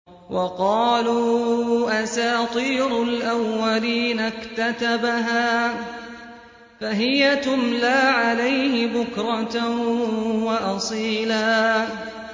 وَقَالُوا أَسَاطِيرُ الْأَوَّلِينَ اكْتَتَبَهَا فَهِيَ تُمْلَىٰ عَلَيْهِ بُكْرَةً وَأَصِيلًا